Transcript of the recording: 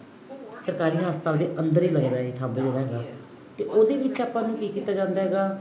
ਸਰਕਾਰੀ ਹਸਪਤਾਲ ਦੇ ਅੰਦਰ ਹੀ ਲੱਗਦਾ ਇਹ thumb ਜਿਹੜਾ ਹੈਗਾ ਤੇ ਉਹਦੇ ਵਿੱਚ ਆਪਾਂ ਨੂੰ ਕੀ ਕੀਤਾ ਜਾਂਦਾ ਹੈਗਾ